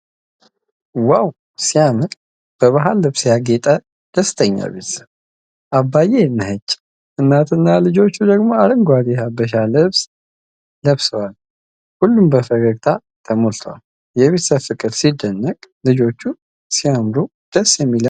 ዋው ሲያምር! በባህል ልብስ ያጌጠች ደስተኛ ቤተሰብ። አባዬ ነጭ፣ እናትና ልጆች ደግሞ አረንጓዴ የሀበሻ ልብስ ለብሰዋል። ሁሉም በፈገግታ ተሞልተዋል። የቤተሰብ ፍቅር ሲደንቅ! ልጆቹ ሲያምሩ! ደስ የሚል የአንድነት ድባብ!